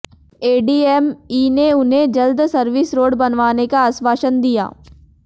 ADM ई ने उन्हें जल्द सर्विस रोड बनवाने का आश्वासन दिया